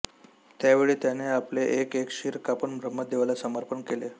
त्यावेळी त्याने आपले एक एक शिर कापून ब्रह्मदेवाला समर्पण केले